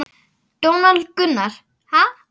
Donald Gunnar: Ha?